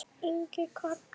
Ingi Karl.